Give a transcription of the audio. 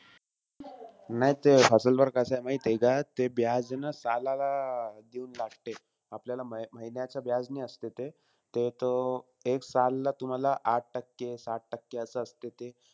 नाई ते वर कसंय माहितीय का ते न सालाला देऊन लागते. आपल्याला म महिन्याच्या ने असते ते. ते तो, एक सालला तुम्हाला आठ टक्के-सात टक्के असं असते ते.